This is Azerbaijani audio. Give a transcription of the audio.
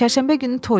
Çərşənbə günü toydur.